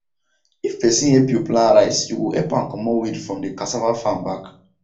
if person help you plant rice you go help am comot weed from he cassava farm back